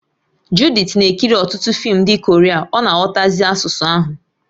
Judith na-ekiri ọtụtụ fim ndị Korea ọ na-aghọtazi asụsụ ahụ